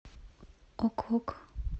ок ок